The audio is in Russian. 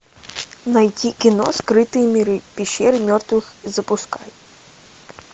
найти кино скрытые миры пещеры мертвых запускай